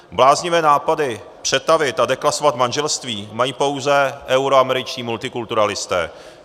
Bláznivé nápady přetavit a deklasovat manželství mají pouze euroameričtí multikulturalisté.